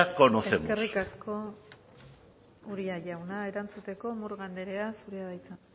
conocemos eskerrik asko uria jauna erantzuteko murga anderea zurea da hitza